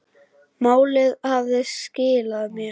Málið hafði skilað sér.